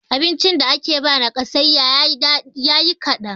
abincin da ake ba nakasayya yi kadan